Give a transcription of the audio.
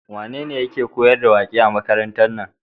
Wane yake koyar da waƙe a makarantar nan?